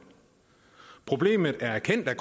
problemet er erkendt af